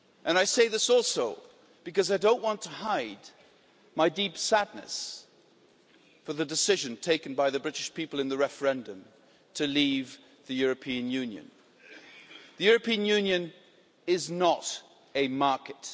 I say this also because I don't want to hide my deep sadness regarding the decision taken by the British people in the referendum to leave the European Union. The European Union is not a market.